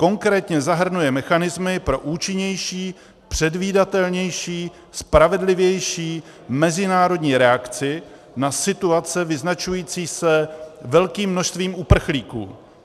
Konkrétně zahrnuje mechanismy pro účinnější, předvídatelnější, spravedlivější mezinárodní reakci na situace vyznačující se velkým množstvím uprchlíků.